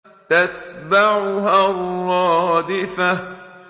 تَتْبَعُهَا الرَّادِفَةُ